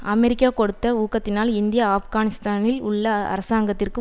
America கொடுத்த ஊக்கத்தினால் India ஆப்கானிஸ்தானில் உள்ள அரசாங்கத்திற்கு